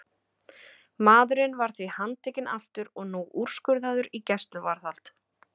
Maðurinn var því handtekinn aftur og nú úrskurðaður í gæsluvarðhald.